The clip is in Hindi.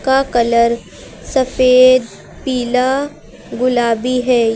का कलर सफेद पीला गुलाबी है।